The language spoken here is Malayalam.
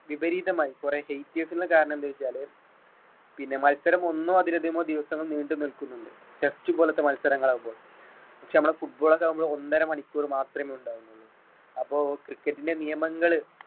വിപരീതമായി കുറെ haters ന്റെ കാരണം എന്തെന്ന് ചോദിച്ചാല് പിന്നെ മത്സരം ഒന്നോ അതിൽ അധികമോ ദിവസങ്ങൾ നീണ്ട് നിൽക്കുന്നുണ്ട് test പോലെത്തെ മത്സരങ്ങളാകുമ്പോൾ. പക്ഷെ നമ്മുടെ football ഒക്കെ നമ്മുടെ ഒന്നര മണിക്കൂർ ഒക്കെ മാത്രമേ ഉണ്ടാകുന്നുള്ളൂ അപ്പൊ cricket ലെ നിയമങ്ങള്